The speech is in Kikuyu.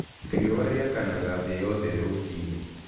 Riũa rĩakanaga thĩ yothe rũcinĩ.